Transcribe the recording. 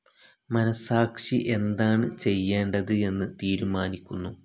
മനസാക്ഷി എന്താണ് ചെയ്യേണ്ടത് എന്ന് തീരുമാനിക്കുന്നു.